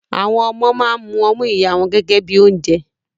Àwọn ọmọ máa ń mu ọmú ìyá wọn gẹ́gẹ́ bíi oúnjẹ.